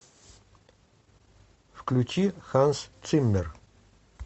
включи ханс циммер